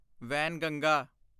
Wainganga